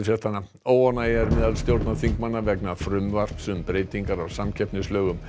óánægja er meðal stjórnarþingmanna vegna frumvarps um breytingar á samkeppnislögum